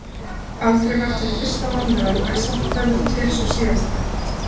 Aldrei var til fyrsta mannveran en samt verður til sú síðasta.